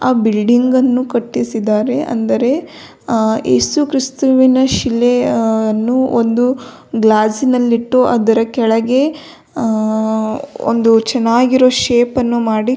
ಆ ಬಿಲ್ಡಿಂಗ್ ನ್ನು ಕಟ್ಟಿಸಿದ್ದಾರೆ ಅಂದರೆ ಆ ಯೇಸು ಕ್ರಿಸ್ತವಿನ ಶಿಲೆ ಯನ್ನು ಒಂದು ಗ್ಲಾಸ್ ನಲ್ಲಿಟ್ಟು ಅದರ ಕೆಳಗೆ ಆ ಒಂದು ಚೆನ್ನಾಗಿರೋ ಶೇಪ್ ನ್ನು ಮಾಡಿ--